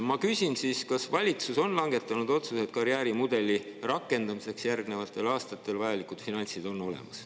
Ma küsin siis, kas valitsus on langetanud otsuse, et karjäärimudeli rakendamiseks järgnevatel aastatel on vajalikud finantsid olemas.